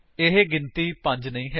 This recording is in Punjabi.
ਇਹ ਗਿਣਤੀ 5 ਨਹੀਂ ਹੈ